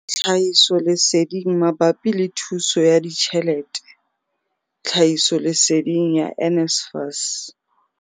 Tlhahisoleseding mabapi le thuso ya ditjhelete, tlhahisoleseding ya NSFAS.